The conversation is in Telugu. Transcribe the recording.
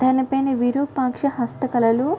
దాని పైన విరూపాక్ష హస్త కళలు --